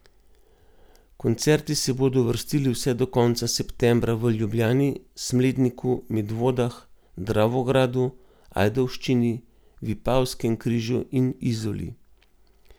Koncerti se bodo vrstili vse do konca septembra v Ljubljani, Smledniku, Medvodah, Dravogradu, Ajdovščini, Vipavskem križu in Izoli.